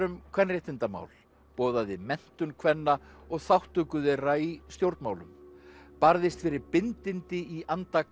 um kvenréttindamál boðaði menntun kvenna og þátttöku þeirra í stjórnmálum barðist fyrir bindindi í anda